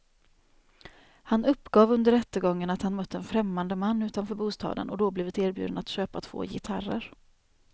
Han uppgav under rättegången att han mött en främmande man utanför bostaden och då blivit erbjuden att köpa två gitarrer.